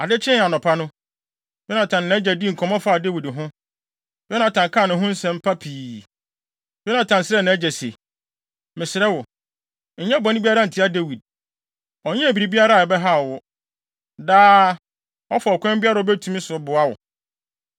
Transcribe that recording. Ade kyee anɔpa no, Yonatan ne nʼagya dii nkɔmmɔ faa Dawid ho. Yonatan kaa ne ho nsɛm pa pii. Yonatan srɛɛ nʼagya se, “Mesrɛ wo, nyɛ bɔne biara ntia Dawid. Ɔnyɛɛ biribiara a ɛbɛhaw wo. Daa, ɔfa ɔkwan biara a obetumi so boa wo.